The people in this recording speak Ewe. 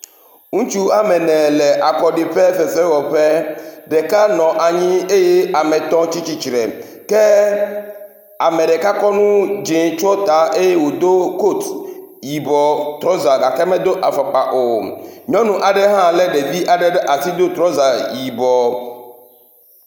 Ŋutsu ame ene le akɔɖiƒe fefewɔƒe, ɖeka nɔ anyi eye ame etɔ̃ tsitre, ke ame ɖeka kɔ nu dze tsyɔ ta eye wòdo kot yibɔ trɔza gake medo afɔkpa o. Nyɔnu aɖe hã lé ɖevi aɖe ɖe asi do trɔza yibɔ.